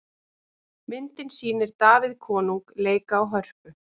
Myndin sýnir Davíð konung leika á hörpu.